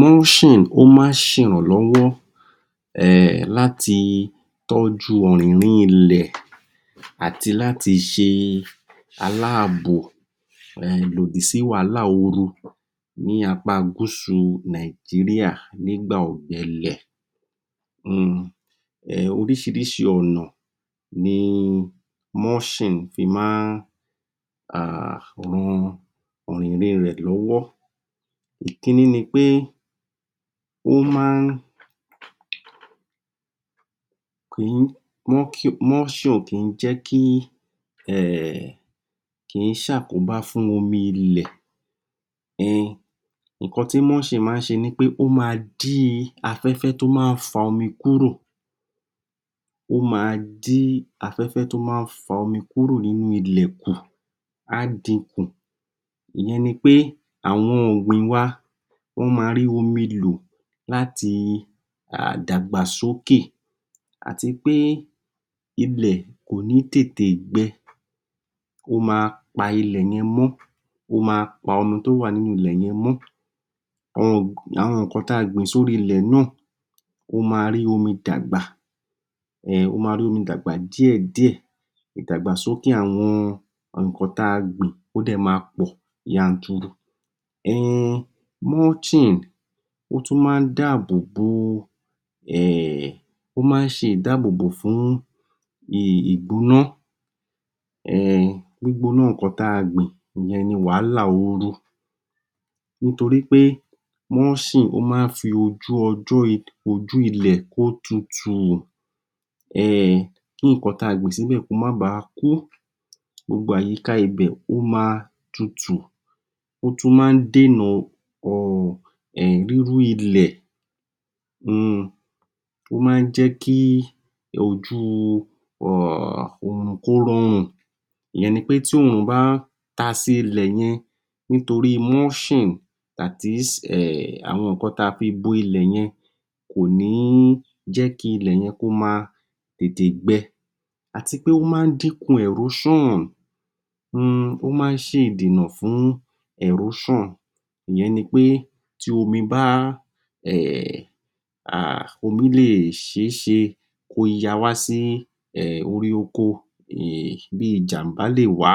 Múṣìn ó má ń ṣe ìrànlọ́wọ́ um láti tọ́jú ọ̀rínrín ilẹ̀ àti láti ṣe aláàbò lòdì sí wàhálà oru ní apá a gúsù nìgíríà ní gbà ọ̀gbẹlẹ̀.um Oríṣiríṣi ọ̀nà ní múṣìn fí máa um ran ọ̀rínrín rẹ̀ lọ́wọ́ ìkíní nipé, ó má ń Múṣìn o kìí jẹ́ kí um kìí se àkóbá fún omi ilẹ,[um] ìkan tí múṣìn máa ń ṣe nipé ó máa dín afẹ́fẹ́ tó má ní fa omi kúrò ó máa dín afẹ́fẹ́ tó má fa omi kúrò nínú ilẹ̀ kù á dín kù, ìyẹn ni pé àwọn ọ̀gbìn wà máa rí omi lò láti dàgbà sókè àtipé ilẹ̀ kòní tètè gbèè, ó ma pa ilẹ̀ yẹn mó. Ó má pa omi tó wà nínú ilẹ̀ yẹn mó. Àwọn ìkan táa gbìn sórí ilẹ̀ náà ó máa rí omi dàgbà um. Ó máa rí omi dàgbà díẹ̀ díẹ̀, ìgbàgbà sókè àwọn ìkan tí a gbìn ó maa poo yanturu um. Múṣìn ótún máa n dáábòbò um, ó máa n ṣé ìdáábòbò fún ìgbóná ehh, gbígbó ná ìkan táa gbìn yẹn ní wàhálà oru. Nítorípé múṣìn ó máa ń fi ojú ilẹ̀ kó tutù ehhh kí ìkan táa gbìn sílẹ̀ kó máa báà kú. Gbogbo àyíká ibè o maa tutù ó tún máa n dèe nà um rírú ilẹ̀ umm. Ó má a ń jẹ́ kí ojú òrùn kó rọrùn ìyẹn ni pé tí oòrùn bá ń taa sílẹ̀ yẹn nítorí múṣìn. That is àwọn ìkan tá a fi bọ ilẹ̀ yẹn kò ní jẹ́ kí àwọn ilẹ̀ yẹn kó máa tètè gbẹ àtipé ó má dínkùn ẹ̀róṣàn, ó má ń ṣe ìdènà fún ẹ̀róṣàn ìyẹn nipé tí omi bàa, omi le ṣèèsì kí ó yawá sí orí oko, bíi ìjànbá lè wá.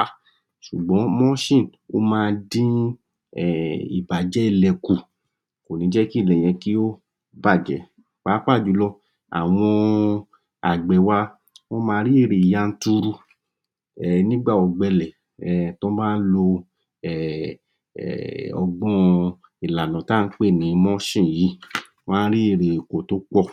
sùgbón múṣìn ma ń dín ìbàjẹ́ bẹ́ẹ̀ kù. Kò ní jẹ́ kí ilẹ̀ yẹn kí ó bàjẹ́ páàpáà jùlọ àwọn àgbẹ̀ wa wọ́n máa rí èrè yanturu nígbà ọ̀gbẹlẹ̀ tí wón bá lo ọgbọ́n ìlànà tá ǹ pè ní múṣìn yí, won á rí èrè oko tópọ̀.